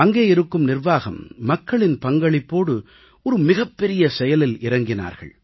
அங்கே இருக்கும் நிர்வாகம் மக்களின் பங்களிப்போடு ஒரு மிகப்பெரிய செயலில் இறங்கினார்கள்